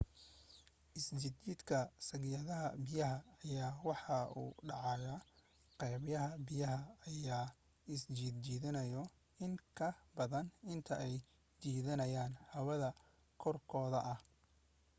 isjijiidka sagxadda biyaha ayaa wuxuu u dhacaa qaybaha biyaha ayaa isjiidanaayo in ka badan inta ay jiidanayaan hawada korkooda ah